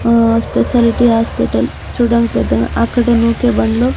ఆ speciality hospital చూడానికి పెద్ద అక్కడ నుకే బండ్లు --